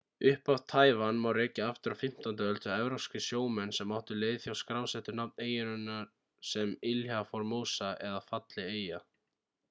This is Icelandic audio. upphaf taívan má rekja aftur á 15. öld þegar evrópskir sjómenn sem áttu leið hjá skrásettu nafn eyjunnar sem ilha formosa eða falleg eyja